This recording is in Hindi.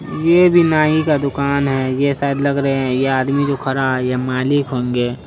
ये भी नई का दुकान है ये सायद लग रहे है ये आदमी जो खड़ा है ये मालिक होंगे।